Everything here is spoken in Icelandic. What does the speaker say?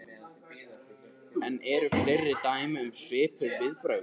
En eru fleiri dæmi um svipuð viðbrögð?